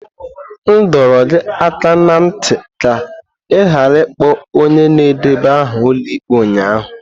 M dọrọ gị aka ná ntị ka ị ghara ịkpọ onye na-edeba aha ụlọ ikpe ụnyaahụ!